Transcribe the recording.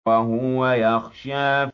وَهُوَ يَخْشَىٰ